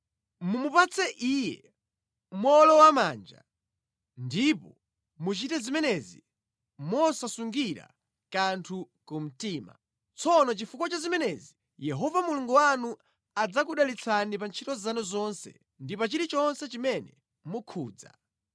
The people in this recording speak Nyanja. Mumupatse iye mowolowamanja ndipo muchite zimenezi mosasungira kanthu kumtima. Tsono chifukwa cha zimenezi, Yehova Mulungu wanu adzakudalitsani pa ntchito zanu zonse ndi pa chilichonse chimene mukhudza.